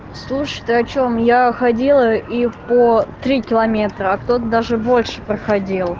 слушай ты о чем я ходила и по три километра а кто-то даже больше проходил